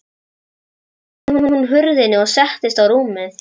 Síðan lokaði hún hurðinni og settist á rúmið.